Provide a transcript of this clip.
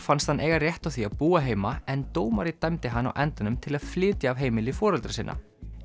fannst hann eiga rétt á því að búa heima en dómari dæmdi hann á endanum til að flytja af heimili foreldra sinna